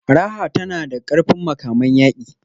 Raha tana da ƙarfin makaman yaƙi.